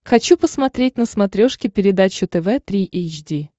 хочу посмотреть на смотрешке передачу тв три эйч ди